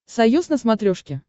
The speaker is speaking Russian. союз на смотрешке